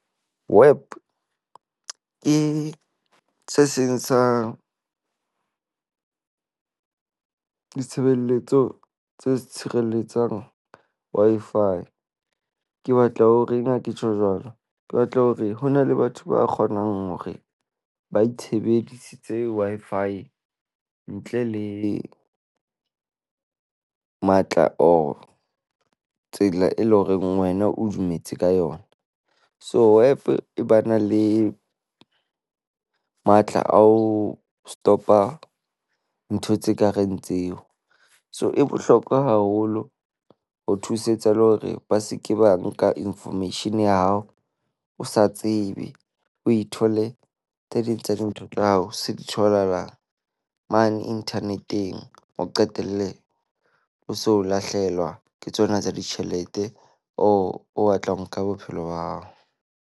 Wap ke se seng sa ditshebeletso tse tshireletsang Wi-Fi. Ke batla ho reng ha ke tjho jwalo? Ke batla hore ho na le batho ba kgonang hore ba itshebedisitse Wi-Fi, ntle le matla or tsela e leng horeng wena o dumetse ka yona. So Wap e ba na le matla a ho stop-a ntho tse kareng tseo. So, e bohlokwa haholo ho thusetsa le hore ba se ke ba nka information ya hao o sa tsebe. O ithole tse ding tsa dintho tsa hao se di tholahala mane internet-eng. O qetelle o so o lahlehelwa ke tsona tsa ditjhelete or o batla ho nka bophelo ba hao.